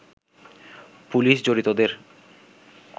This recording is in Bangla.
পুলিশ জড়িতদের